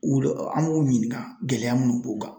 U an b'u ɲininka gɛlɛya munnu b'u kan.